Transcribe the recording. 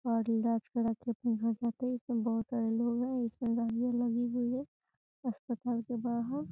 और इलाज कराके अपने घर जाते हैं इसमें बहोत सारे लोग हैं इसमें लगी हुई है अस्पताल के बाहर।